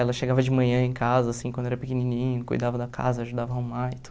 Ela chegava de manhã em casa, assim, quando era pequenininha, cuidava da casa, ajudava arrumar e